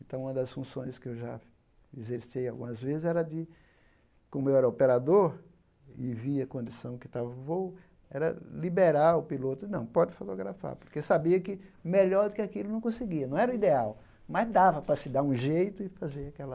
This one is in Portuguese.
Então, uma das funções que eu já exercei algumas vezes era de, como eu era operador e via a condição que estava o voo, era liberar o piloto, não, pode fotografar, porque sabia que melhor do que aquilo não conseguia, não era o ideal, mas dava para se dar um jeito e fazer aquela